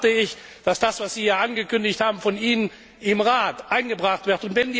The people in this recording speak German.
Dann erwarte ich, dass das, was Sie hier angekündigt haben, von Ihnen im Rat eingebracht wird.